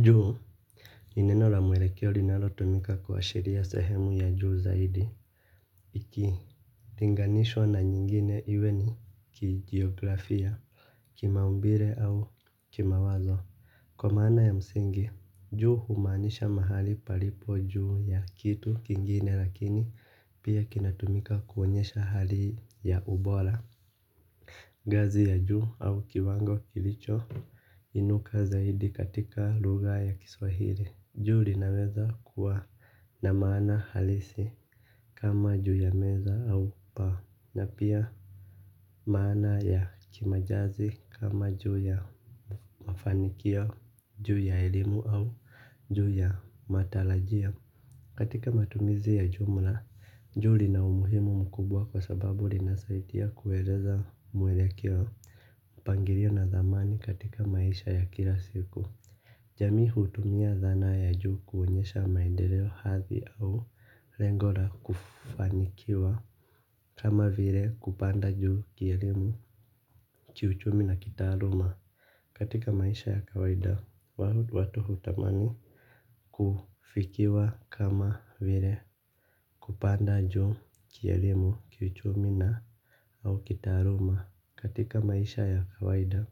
Juu. Ni neno la mwelekeo linalo tumika kuashiria sehemu ya juu zaidi. Iki linganishwa na nyingine iwe ni kijiografia kimaumbile au kimawazo. Kwa maana ya msingi juu humaanisha mahali palipo juu ya kitu kingine lakini pia kinatumika kuonyesha hali ya ubora ngazi ya juu au kiwango kilicho inuka zaidi katika lugha ya kiswahili. Juu linaweza kuwa na maana halisi kama juu ya meza au paa na pia maana ya kimajazi kama juu ya mafanikio, juu ya elimu au juu ya matarajio. Katika matumizi ya jumla, juu lina umuhimu mkubwa kwa sababu linasaidia kueleza mwelekeo mpangilio na dhamani katika maisha ya kila siku. Jamii hutumia dhana ya juu kuonyesha maendeleo hadhi au lengo la kufanikiwa. Kama vile kupanda juu kielimu kiuchumi na kitaluma katika maisha ya kawaida watu hutamani kufikiwa kama vile kupanda juu kielimu, kiuchumi su kitaaluma katika maisha ya kawaida.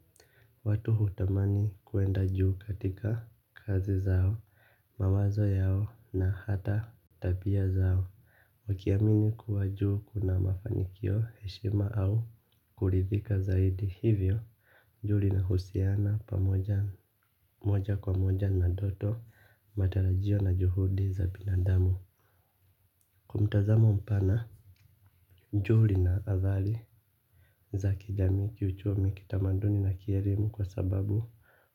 Watu hutamani kuenda juu katika kazi zao. Mawazo yao na hata tabia zao wakiamini kuwa juu kuna mafanikio heshima au kuridhika zaidi hivyo. Juu linahusiana pamoja moja kwa moja na doto. Matarajio na juhudi za binadamu kwa mtazamo mpana juu lina athari za kijamii kiuchumi kitamaduni na kielimu kwa sababu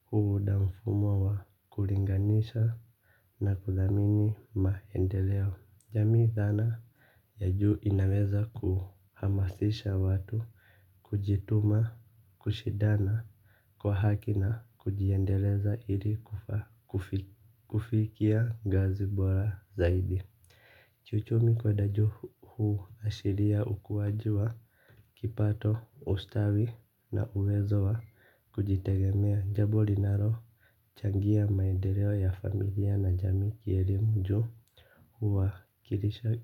huunda mfumo wa kulinganisha na kuthamini maendeleo. Jami dhana ya juu inaweza kuhamasisha watu kujituma kushidana kwa haki na kujiendeleza ili kufikia ngazi bora zaidi kiuchumi kwenda juu huashiria ukuwaji wa kipato ustawi na uwezo wa kujitegemea jambo linalo changia maendeleo ya familia na jami kielimu juu. Huwakilisha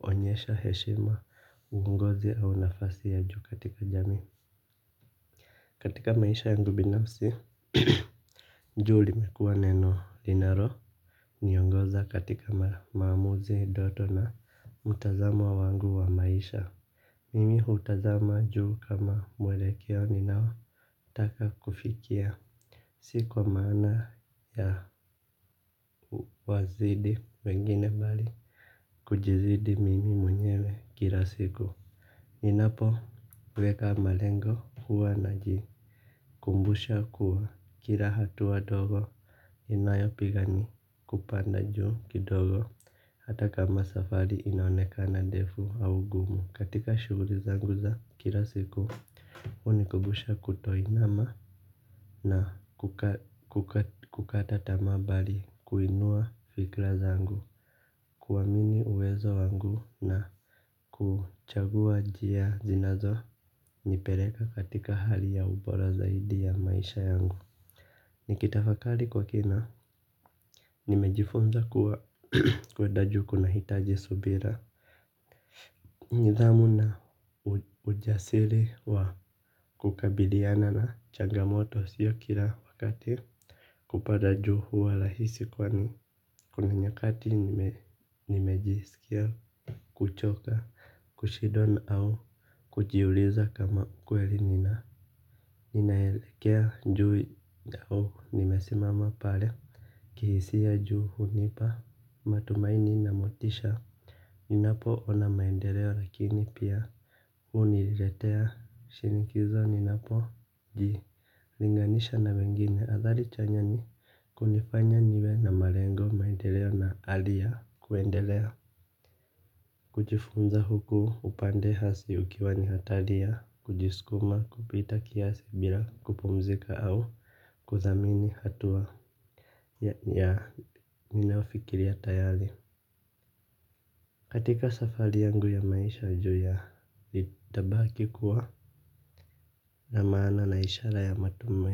huonyesha heshima uongozi au nafasi ya juu katika jami. Katika maisha yangu binafsi. Juu limekuwa neno linalo niongoza katika maamuzi ndoto na mtazamo wangu wa maisha. Mimi hutazama juu kama mwelekeo ninao taka kufikia. Si kwa maana ya wazidi wengine bali kujizidi mimi mwenyewe kila siku. Ninapoweka malengo huwa na jikumbusha kuwa kila hatua ndogo inayopiga ni kupanda juu kidogo. Hata kama safari inaonekana ndefu au gumu katika shughuli zangu za kila siku hunikumbusha kutoinama na kukata tamaa bali kuinua fikra zangu. Kuamini uwezo wangu na kuchagua njia zinazo nipeleka katika hali ya ubora zaidi ya maisha yangu. Nikitafakari kwa kina nimejifunza kuwa kuenda juu kunahitaji subira. Nidhamu na ujasiri wa kukabiliana na changamoto siyo kila wakati. Kupada juu huwa rahisi kwani kuna nyakati nimejisikia kuchoka. Kushindwa au kujiuliza kama kweli nina ninaelekea juu au nimesimama pale kihisia juu hunipa matumaini na motisha. Ninapoona maendeleo lakini pia huniletea shinikizo ninapoji linganisha na wengine athari chanya ni kunifanya niwe na malengo maendeleo na hali ya kuendelea. Kujifunza huku upande hasi ukiwa ni hatari ya kujiskuma kupita kiasi bila kupumzika au kuthamini hatua ya ya ninayofikiria tayari. Katika safari yangu ya maisha juu ya nitabaki kuwa na maana na ishara ya matumaini.